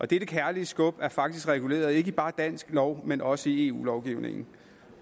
dette kærlige skub er faktisk reguleret ikke bare i dansk lov men også i eu lovgivningen